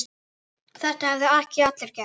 Þetta hefðu ekki allir gert.